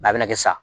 a bɛna kɛ sisan